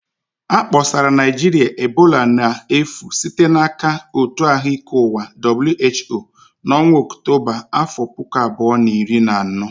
A kpọsara Naịjirịa ebola n'efu site n'aka Òtù Ahụ Ike Ụwa (WHO) n'ọnwa Ọktọba afọ puku abuo na iri na ano